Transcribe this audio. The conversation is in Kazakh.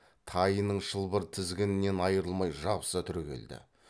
тайының шылбыр тізгінінен айырылмай жабыса түрегелді